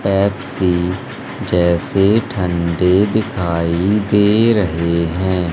Pepsi जैसे ठंडे दिखाई दे रहे हैं।